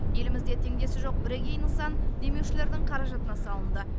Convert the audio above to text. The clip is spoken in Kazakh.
елімізде теңдесі жоқ бірегей нысан демеушілердің қаражатына салынды